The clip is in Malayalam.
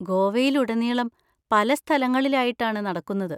ഗോവയിലുടനീളം പല സ്ഥലങ്ങളിലായിട്ടാണ് നടക്കുന്നത്.